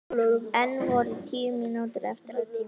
Enn voru tíu mínútur eftir af tímanum.